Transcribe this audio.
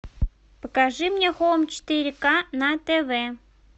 покажи мне хоум четыре к на тв